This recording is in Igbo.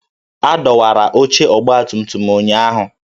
A dọwara oche ọgbatumtum m ụnyahụ